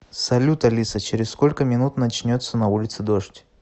салют алиса через сколько минут начнется на улице дождь